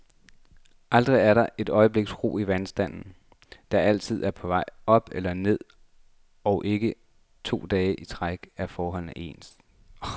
Aldrig er der et øjebliks ro i vandstanden, der altid er på vej op eller ned, og ikke to dage i træk er forholdene stabile.